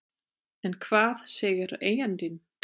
En hvað segir eigandinn?